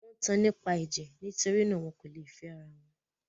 Wọ́n tan nípa ẹ̀jẹ̀; nitori náà, wọn kò lè fẹ́ ara wọn.